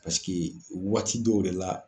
Paseke waati dɔw de la